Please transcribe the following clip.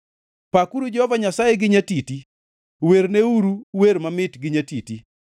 Pakuru Jehova Nyasaye gi nyatiti; werneuru wer mamit gi nyatiti.